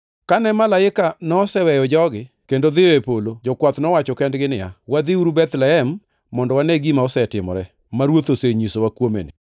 Kane malaika noseweyo jogi kendo dhiyo e polo, jokwath nowacho kendgi niya, “Wadhiuru Bethlehem mondo wane gima osetimore, ma Ruoth osenyisowa kuome ni.”